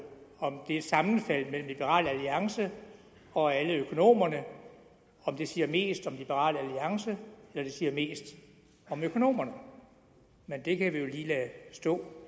om det sammenfald mellem liberal alliance og alle økonomerne siger mest om liberal alliance eller det siger mest om økonomerne men det kan vi jo lige lade stå